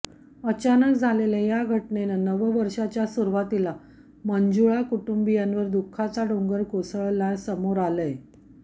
अचानक झालेल्या या घटनेने नवं वर्षच्या सुरवातीला मुंजाळ कुटुंबियांवर दुःखाचा डोंगर कोसळल्या समोर आलयं